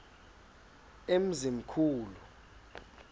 emzimkhulu